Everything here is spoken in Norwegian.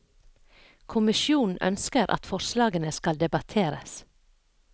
Kommisjonen ønsker at forslagene skal debatteres.